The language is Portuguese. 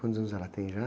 Quantos anos ela tem já?